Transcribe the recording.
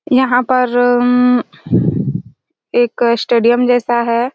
यहाँ पर उम्म एक स्टेडियम जैसा हैं।